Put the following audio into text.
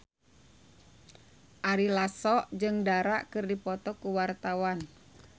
Ari Lasso jeung Dara keur dipoto ku wartawan